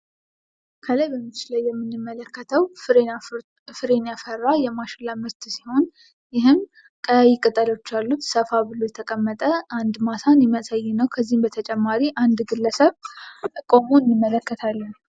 ከላይ በምስሉ ላይ የምንመለከተው ፍሬን ያፈራ የማሽላ ምርት ሲሆን ይህም ቀያይ ቅጠሎች ያሉት ሰፋ ብሎ የተቀመጠ አንድ ማሳን የሚያሳይ ነው። ከዚህም በተጨማሪ አንድ ግለሰብ ቆሞ እንመለከታለን።